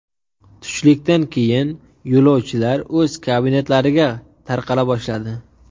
Tushlikdan keyin yo‘lovchilar o‘z kabinetlariga tarqala boshladi.